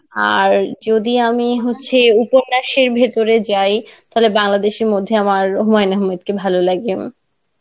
আর যদি আমি হচ্ছে উপন্যাসের ভিতরে যাই, তাহলে বাংলাদেশের মধ্যে আমার হুমাউন আহমেদ কে ভালো লাগে.